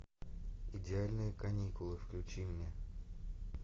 идеальные каникулы включи мне